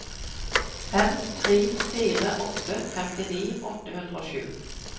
fem tre fire åtte femtini åtte hundre og sju